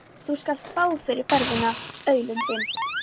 Þú skalt fá fyrir ferðina, aulinn þinn!